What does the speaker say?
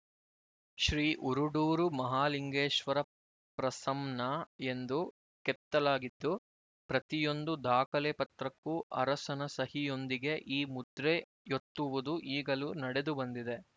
ಶ್ರೀ ಉರುಡೂರು ಮಹಾಲಿಂಗೇಶ್ವರ ಪ್ರಸಂನ ಎಂದು ಕೆತ್ತಲಾಗಿದ್ದು ಪ್ರತಿಯೊಂದು ದಾಖಲೆ ಪತ್ರಕ್ಕೂ ಅರಸನ ಸಹಿಯೊಂದಿಗೆ ಈ ಮುದ್ರೆಯೊತ್ತುವುದು ಈಗಲೂ ನಡೆದುಬಂದಿದೆ